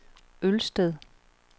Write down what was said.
Ølsted